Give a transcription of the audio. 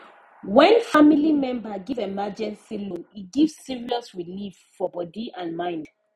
when family member give emergency loan e give serious relief for body and mind